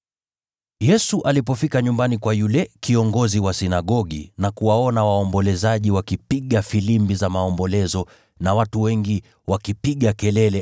Yesu alipofika nyumbani kwa yule kiongozi wa sinagogi na kuwaona waombolezaji wakipiga filimbi za maombolezo na watu wengi wakipiga kelele,